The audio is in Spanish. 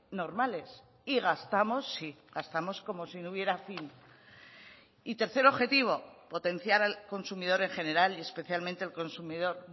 normales y gastamos sí gastamos como si no hubiera fin y tercer objetivo potenciar al consumidor en general y especialmente el consumidor